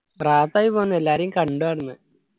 പോന്നു എല്ലാരേയും കണ്ടു ആടന്നു